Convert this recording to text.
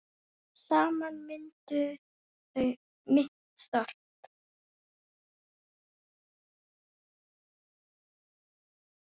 Saman mynduðu þau mitt þorp.